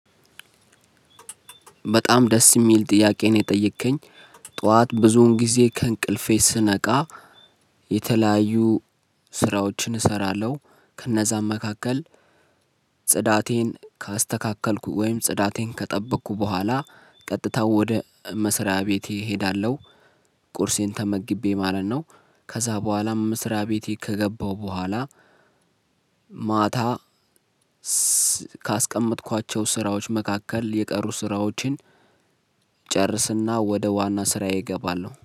በጣም ደስ የሚል ጥያቄ ነው የጠየከኝ ጠዋት ብዙን ጊዜ ከእንቅልፌ ስነቃ። የተለያዩ ስራዎችን እሰራለሁ ከእነዛም መካከል። ጽዳቴን ካስተካከልኩ ወይም ጽዳቴን ከጠበቅኩ በኋላ ቀጥታ ወደ መስሪያ ቤቴ እሄዳለሁ። ቁርሴን ተመግቤ ማለት ነው። ከዛ በኋላም መስሪያ ቤቴ ከገባሁ በኋላ ማታ ካስቀመጥኳቸው ስራዎች መካከል የቀሩ ስራዎችን። ጨርስና ወደ ዋና ስራዬ እገባለሁ